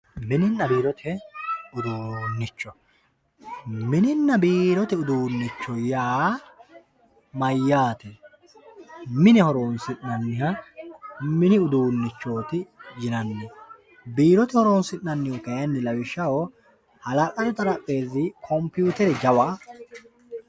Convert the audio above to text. mininna biirote uduunnicho mininna biirote uduunnicho yaa mayyate mine horoonsi'nanniha mini uduunnichooti yinanni biirote oroonsi'nannihu lawishshaho hala'ladu xarapheezi computere jawa